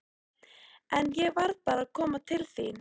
En ég varð bara að koma til þín.